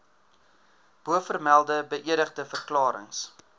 bovermelde beëdigde verklarings